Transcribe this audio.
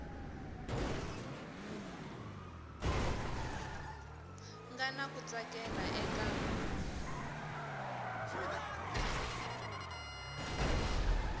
nga na ku tsakela eka